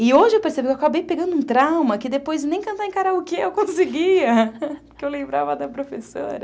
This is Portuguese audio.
E hoje eu percebi, eu acabei pegando um trauma que depois nem cantar em karaokê eu conseguia, porque eu lembrava da professora.